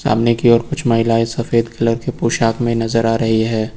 सामने की ओर कुछ महिलाएं सफेद कलर की पोशाक में नजर आ रही हैं।